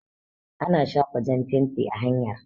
Ana shafa jan fenti a hanyar